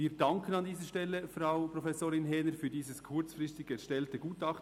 Wir danken an dieser Stelle Frau Professorin Häner für dieses kurzfristig erstellte Gutachten.